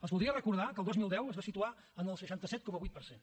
els voldria recordar que el dos mil deu es va situar en el seixanta set coma vuit per cent